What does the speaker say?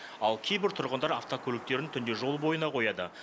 ал кейбір тұрғындар автокөліктерін түнде жол бойына қояды